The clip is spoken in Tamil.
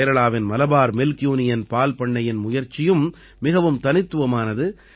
கேரளாவின் மலபார் மில்க் யூனியன் பால்பண்ணையின் முயற்சியும் மிகவும் தனித்துவமானது